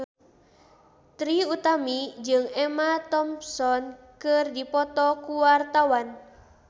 Trie Utami jeung Emma Thompson keur dipoto ku wartawan